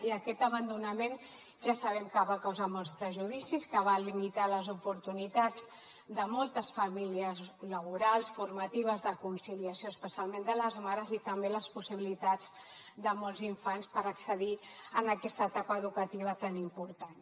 i aquest abandonament ja sabem que va causar molts perjudicis que va limitar les oportunitats de moltes famílies laborals formatives de conciliació especialment de les mares i també les possibilitats de molts infants per accedir en aquesta etapa educativa tan important